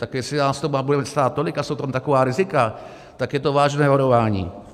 Tak jestli nás to bude stát tolik a jsou tam taková rizika, tak je to vážné varování.